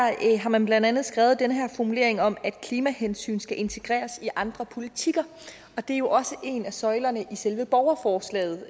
har man blandt andet skrevet den her formulering om at klimahensyn skal integreres i andre politikker og det er jo også en af søjlerne i selve borgerforslaget